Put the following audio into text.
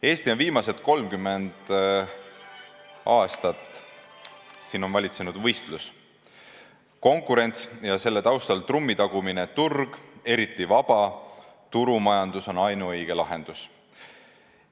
Eestis on viimased 30 aastat valitsenud võistlus, konkurents ja selle taustal trummi tagumine, et turg, eriti vabaturumajandus, on ainuõige lahendus.